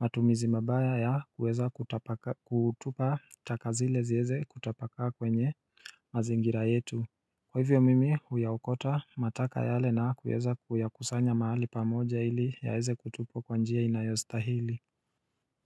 matumizi mabaya ya kueza kutupa takazile zieze kutapakaa kwenye mazingira yetu Kwa hivyo mimi huyaokota mataka yale na kueza kuyakusanya mahali pamoja ili yaweze kutupwa kwanjia inayostahili.